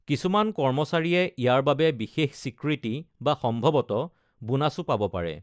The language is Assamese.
কিছুমান কৰ্মচাৰীয়ে ইয়াৰ বাবে বিশেষ স্বীকৃতি বা সম্ভৱতঃ বোনাচো পাব পাৰে।